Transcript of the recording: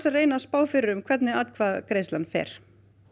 reyna að spá fyrir um hvernig atkvæðagreiðslan fer